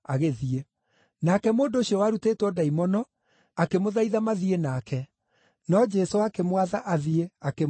Nake mũndũ ũcio warutĩtwo ndaimono akĩmũthaitha mathiĩ nake, no Jesũ akĩmwatha athiĩ, akĩmwĩra atĩrĩ,